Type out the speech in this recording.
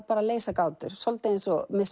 leysa gátur svolítið eins og miss